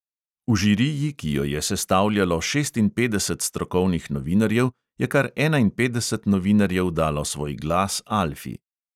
V žiriji, ki jo je sestavljalo šestinpetdeset strokovnih novinarjev, je kar enainpetdeset novinarjev dalo svoj glas alfi.